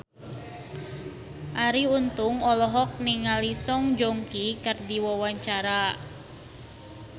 Arie Untung olohok ningali Song Joong Ki keur diwawancara